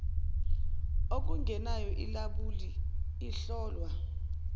okungenayo ilabuli ihlolwa